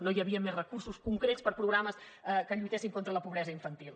no hi havien més recursos concrets per programes que lluitessin contra la pobresa infantil